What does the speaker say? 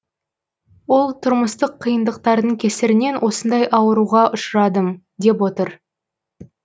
ол тұрмыстық қиындықтардың кесірінен осындай ауруға ұшырадым деп отыр